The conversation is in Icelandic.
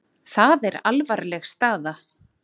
Það er alvarleg staða.